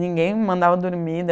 Ninguém me mandava dormir.